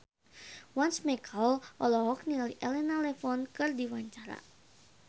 Once Mekel olohok ningali Elena Levon keur diwawancara